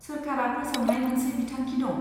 सोरखारा फोसावनाय मोनसे बिथांखि दं।